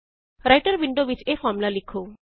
Writer window ਵਿੱਚ ਇਹ formula ਲਿਖੋ